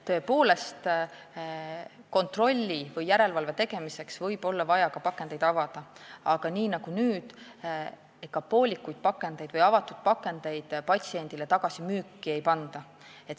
Tõepoolest, kontrolli või järelevalve tegemiseks võib olla vaja pakendeid avada, aga nii nagu nüüdki, ega poolikuid või avatud pakendeid müüki ei panda.